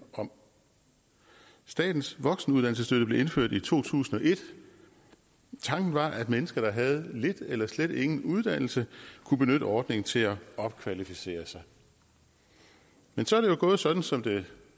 om statens voksenuddannelsesstøtte blev indført i to tusind og et tanken var at mennesker der havde lidt eller slet ingen uddannelse kunne benytte ordningen til at opkvalificere sig men så er det jo gået sådan som det